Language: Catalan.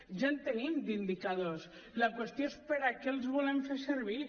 ja en tenim d’indicadors la qüestió és per a què els volen fer servir